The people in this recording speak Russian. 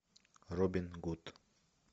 робин гуд